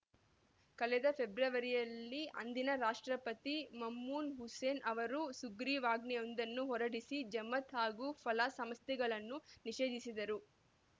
ಕಳೆದ ಫೆಬ್ರವರಿಯಲ್ಲಿ ಅಂದಿನ ರಾಷ್ಟ್ರಪತಿ ಮಮ್ನೂನ್‌ ಹುಸೇನ್‌ ಅವರು ಸುಗ್ರೀವಾಜ್ಞೆಯೊಂದನ್ನು ಹೊರಡಿಸಿ ಜಮಾತ್‌ ಹಾಗೂ ಫಲಾಹ್‌ ಸಂಸ್ಥೆಗಳನ್ನು ನಿಷೇಧಿಸಿದ್ದರು